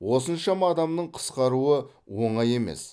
осыншама адамның қысқаруы оңай емес